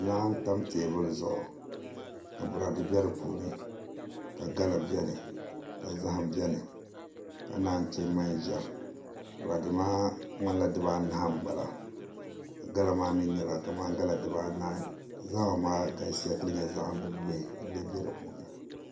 Laa n tam teebuli zuɣu ka boraadɛ bɛ di puuni ka gala bɛni ka zaham bɛni ka naan chɛ manʒa boraadɛ maa nyɛla kamani dibanahi n bala ka naan chɛ gala dibanahi zaham maa galisiya ka lee nyɛ zaham bihi bihi n lee bɛ di puuni